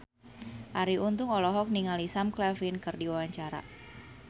Arie Untung olohok ningali Sam Claflin keur diwawancara